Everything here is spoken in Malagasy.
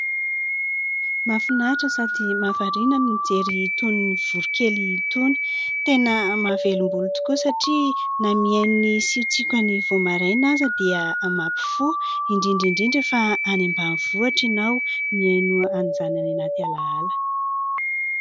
Mahafinaritra sady mahavariana ny mijery itony voronkely itony, tena mahavelom-bolo tokoa satria na mihaino ny siotsiokany vao maraina aza dia mampifoha, indrindra indrindra fa any ambanivohitra ianao mihaino an'izany any anaty alaala.